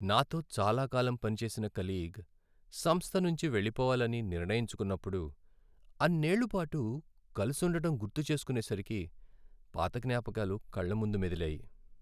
నాతో చాలాకాలం పనిచేసిన కలీగ్ సంస్థ నుంచి వెళ్ళిపోవాలని నిర్ణయించుకున్నప్పుడు అన్నేళ్ళ పాటు కలుసుండటం గుర్తుచేసుకునేసరికి పాత జ్ఞాపకాలు కళ్ళ ముందు మెదిలాయి.